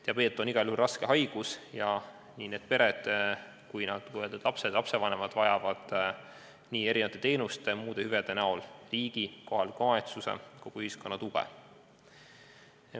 Diabeet on igal juhul raske haigus ja need pered, sh lapsevanemad, vajavad erinevate teenuste ja muude hüvede näol riigi, kohaliku omavalitsuse ja kogu ühiskonna tuge.